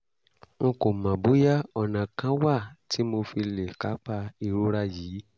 n kò mọ̀ bóyá ọ̀nà kán wà tí mo fi lè kápá ìrora yìí